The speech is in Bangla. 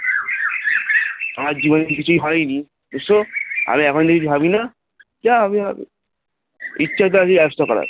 আমার জীবনে তো কিছুই হয়নি, এসব আমি এখনও কিছু ভাবিনা যা হবে হবেইচ্ছে থাকলেই ব্যবস্থা করা হয়